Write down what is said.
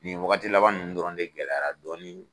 Nin wagati laban ninnu dɔrɔn de gɛlɛyara dɔɔnin.